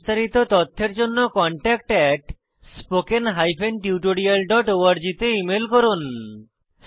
বিস্তারিত তথ্যের জন্য contactspoken tutorialorg তে ইমেল করুন